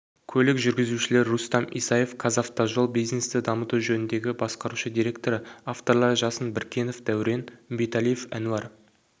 көлік жүргізушілер рустам исаев қазавтожол бизнесті дамыту жөніндегі басқарушы директоры авторлары жасын біркенов дәурен үмбеталиев әнуар